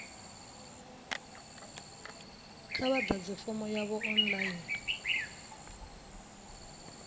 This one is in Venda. kha vha ḓadze fomo yavho online